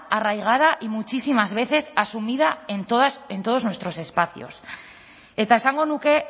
arraigada y muchísimas veces asumida en todos nuestros espacios eta esango nuke